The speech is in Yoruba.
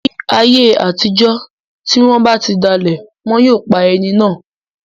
Ni ayé àtijọ́, ti wọ́n ba ti dalẹ̀, wọn yóò pa ẹni náà